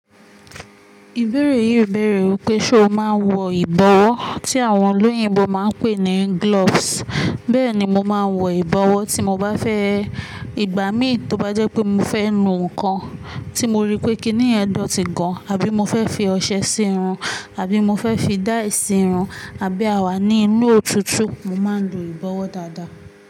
Ìbéèrè yìí ń béèrè wípé ṣe o máa ń wọ ìbọ̀wọ́ tí àwọn olóyìnbo máa ń pè ní gloves. Bẹ́ẹ̀ni mo máa ń wọ ìbọ̀wọ́ tí mo bá fẹ́, ìgbà mí tó bá jẹ́ pé mo fẹ́ nu nǹkan tí mo rí pé kì í ní ẹ̀dọ̀tí gan an àbí mo fẹ́ fi ọṣẹ sírun àbí mo fẹ́ fi dye sírun àbí àwa ní inú òtútù, mo máa ń lo ìbọ̀wọ́ dáadáa.